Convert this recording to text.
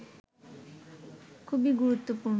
খুবই গুরুত্বপূর্ণ